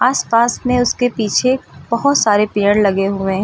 आस पास में उसके पीछे बहुत सारे पेड़ लगे हुए हैं।